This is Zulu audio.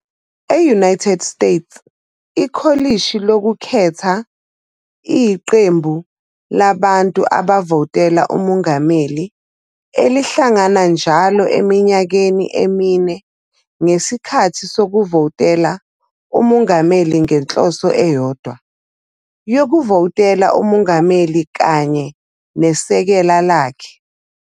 E-United States, ikholishi lokukhetha iyiqembu labantu abavotela umongameli elihlangana njalo eminyakeni emine ngesikhathi sokuvotela umongameli ngenhloso eyodwa yokuvotela umongameli kanye nesekela lakhe.